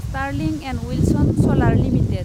Sterling and Wilson Solar limited